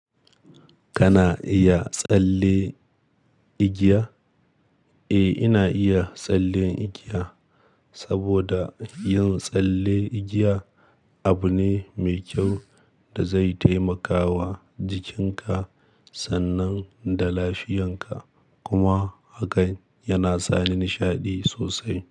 Kana iya tsalle igiya? Eh, ina iya tsalle igiya saboda yin tsalle igiya abu ne mai kyau da zai taimakawa jikinka sannan da lafiyanka kuma hakan yana sa ni nishaɗi sosai.